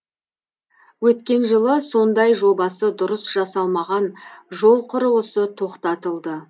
өткен жылы сондай жобасы дұрыс жасалмаған жол құрылысы тоқтатылды